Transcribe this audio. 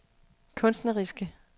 kunstneriske